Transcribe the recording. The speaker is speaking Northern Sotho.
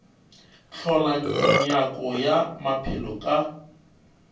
hlola nyako ya maphelo ka